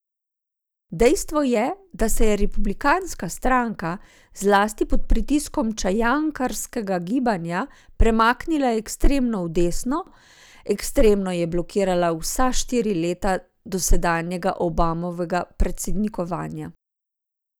Dejstvo je, da se je republikanska stranka, zlasti pod pritiskom čajankarskega gibanja, premaknila ekstremno v desno, ekstremno je blokirala vsa štiri leta dosedanjega Obamovega predsednikovanja.